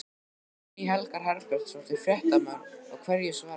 Guðný Helga Herbertsdóttir, fréttamaður: Og hverju svararðu?